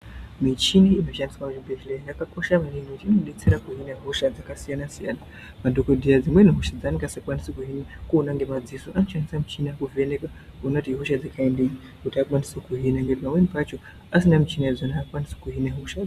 Michini inoshandiswe kuchibhehleya yakakosha maningi nekutii inodetsera kuhine hosha dzakasiyanasiyana madhokodheya dzimweni hosha dzaanonga asingakwanisi kuona ngemadziso anoshandise michini kuvheneka kuona kuti ihosha dzekaindini kuti akwanise kuhine pamweni pacho kana asina michini yachona aakwanisi kuhine hosha.